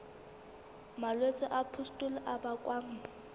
malwetse a pustule a bakwang